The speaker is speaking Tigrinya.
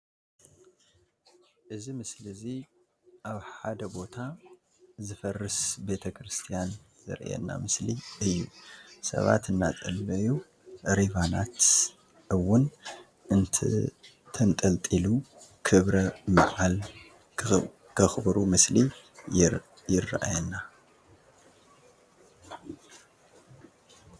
እዚ ምስሊ እዚ ኣብ ሓድ ቦታ ዝፈርሰ ቤት ክርስትያን ዘርእየና ምስሊ እዩስባ እናፀልዩ ሪቫናት ኣዉን ትንጠልጢሉ ክብረ ብዓል ዝክብሩ ምስሊ ይርእየና።